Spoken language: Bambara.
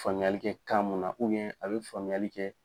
Faamuyali kɛ kan munna a bɛ faamuyali kɛ.